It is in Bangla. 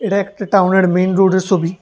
এটা একটা টাউনের মেইন রোডের সোবি ।